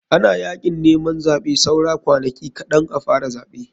Ana yakin neman zaɓe saura kwanaki kaɗn a fara zaɓe.